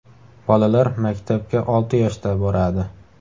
Bolalar maktabga olti yoshda boradi.